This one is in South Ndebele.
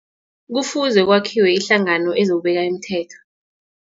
Kufuze kwakhiwe ihlangano ezokubeka imithetho.